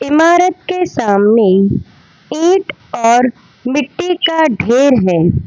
इमारत के सामने ईंट और मिट्टी का ढ़ेर है।